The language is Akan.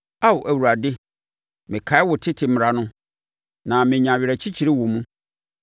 Ao Awurade mekae wo tete mmara no, na menya awerɛkyekyerɛ wɔ mu.